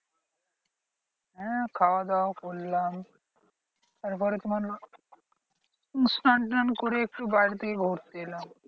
হ্যাঁ খাওয়া দাওয়া করলাম তারপরে তোমার স্নান টান করে একটু বাইরের দিকে ঘুরতে এলাম।